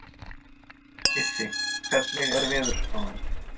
Issi, hvernig er veðurspáin?